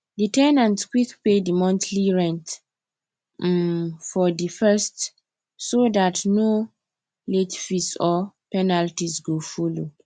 di ten ant quick pay di monthly rent um for di 1st so dat no late fees or penalties go follow